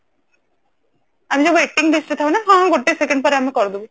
ଆମେ ସବୁ waiting list ରେ ଥାଉ ନା ହଁ ଗୋଟେ second ପରେ ଆମେ କରିଦବୁ